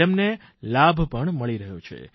તેમને લાભ પણ મળી રહ્યો છે